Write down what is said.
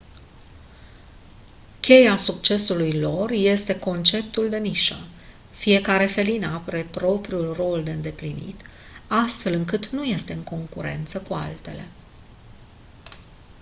cheia succesului lor este conceptul de nișă fiecare felină are propriul rol de îndeplinit astfel încât nu este în concurență cu altele